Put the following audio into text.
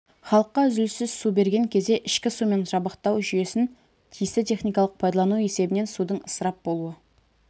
халыққа үзіліссіз су берген кезде ішкі сумен жабдықтау жүйесін тиісті техникалық пайдалану есебінен судың ысырап болуы